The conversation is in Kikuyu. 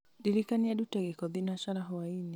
ndirikania ndute gĩko thinacara hwaĩ-inĩ